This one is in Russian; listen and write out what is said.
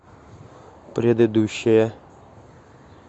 предыдущая